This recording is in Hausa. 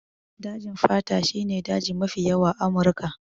Dajin fata shi ne daji mafi yawa a Amurika.